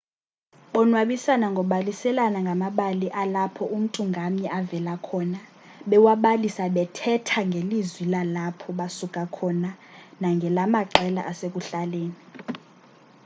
bonwabisana ngobaliselana ngamabali alapho umntu ngamnye avela khona bewabalisa bethetha ngelizwi lalapho basuka khona nangelamaqela asekuhlaleni